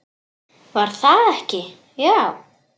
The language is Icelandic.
Var það ekki, já!